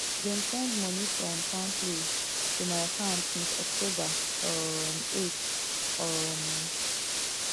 dem send money from palmpay to my account since october um eight um